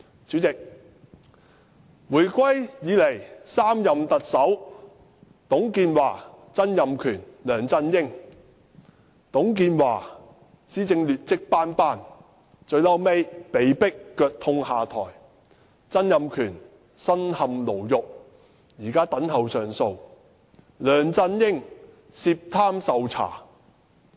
主席，回歸以來的3任特首董建華、曾蔭權、梁振英：董建華施政劣跡斑斑，最後被迫腳痛下台；曾蔭權身陷牢獄，現在等候上訴；梁振英涉貪受查。